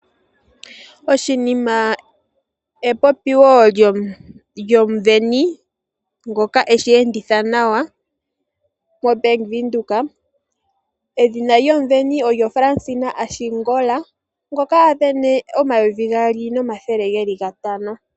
Oshinima epopiwo lyomusindani ngoka eshi enditha nawa moBank Windhoek. Edhina lyomusindani olyo Fransina Ashingola ngoka a sindana omayovi gaali nomathele geli gatano.